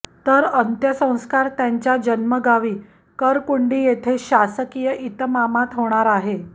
तर अंत्यसंस्कार त्यांच्या जन्मगावी कुंरकुंडी येथे शासकीय इतमामात होणार आहे